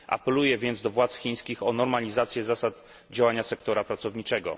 Apeluję więc do władz chińskich o normalizację zasad działania sektora pracowniczego.